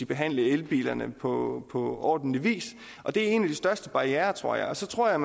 behandle elbilerne på ordentlig vis og det er en af de største barrierer tror jeg og så tror jeg